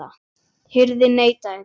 Hirðin neitaði því.